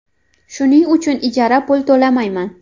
Shuning uchun ijaraga pul to‘lamayman.